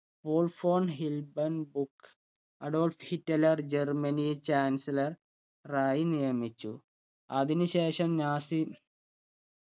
വോൾഫോൺ ഹിൽബന്ദ് ബുക്ക് Adolf Hitler Germany chancellor ആയി നിയമിച്ചു അതിനുശേഷം നാസി